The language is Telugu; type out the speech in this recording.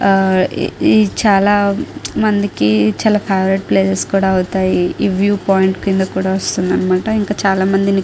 ఇది చాలా మందికి చాలా ఫేవరెట్ ప్లేస్ కూడా అవుతాయి. ఈ వ్యూ పాయింట్ కింద కూడా వస్తుంది అనమాట. ఇంకా చాలామందిని --